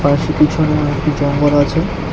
তার পিছনেও একটি জঙ্গল আছে।